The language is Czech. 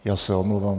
Já se omlouvám.